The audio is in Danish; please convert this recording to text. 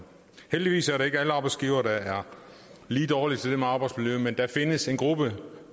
heldigvis er det ikke alle arbejdsgivere der er dårlige til det med arbejdsmiljø men der findes en gruppe på